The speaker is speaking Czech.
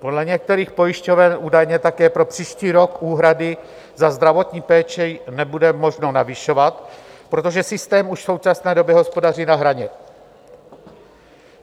Podle některých pojišťoven údajně také pro příští rok úhrady za zdravotní péči nebude možno navyšovat, protože systém už v současné době hospodaří na hraně.